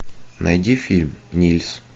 найди фильм нильс